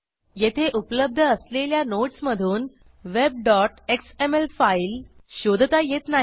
येथे उपलब्ध असलेल्या नोडस मधून webएक्सएमएल फाईल शोधता येत नाही